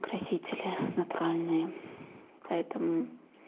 красители натуральные поэтому